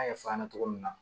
An y'a fɔ a ɲɛna cogo min na